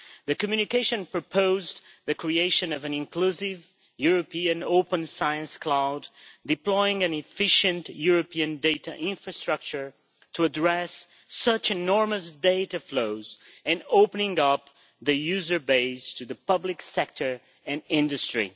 The Communication proposed the creation of an inclusive, European, open science cloud, deploying an efficient European data infrastructure to address such enormous data flows and opening up the user base to the public sector and industry.